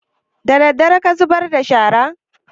Daddare ka zubar da shara?